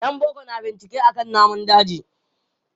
Yan boko na bincike akan namun daji.